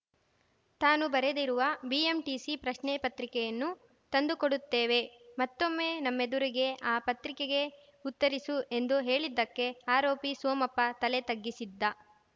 ತಾನು ಬರೆದಿರುವ ಬಿಎಂಟಿಸಿ ಪ್ರಶ್ನೆ ಪತ್ರಿಕೆಯನ್ನು ತಂದುಕೊಡುತ್ತೇವೆ ಮತ್ತೊಮ್ಮೆ ನಮ್ಮೆದುರಿಗೆ ಆ ಪತ್ರಿಕೆಗೆ ಉತ್ತರಿಸು ಎಂದು ಹೇಳಿದ್ದಕ್ಕೆ ಆರೋಪಿ ಸೋಮಪ್ಪ ತಲೆ ತಗ್ಗಿಸಿದ್ದ